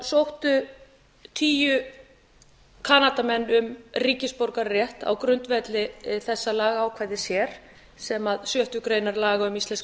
sóttu tíu kanadamenn um ríkisborgararétt á grundvelli þessa lagaákvæðis hér sem sjöttu grein laga um íslenskan